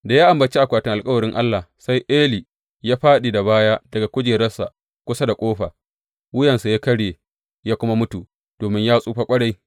Da ya ambaci akwatin alkawarin Allah, sai Eli ya fāɗi da baya daga kujeransa kusa da ƙofa, wuyarsa ta karye, ya kuma mutu domin ya tsufa ƙwarai.